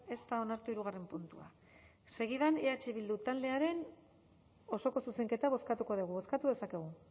ez da onartu hirugarren puntua segidan eh bildu taldearen osoko zuzenketa bozkatuko dugu bozkatu dezakegu